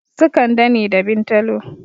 Su kande ne da bintalo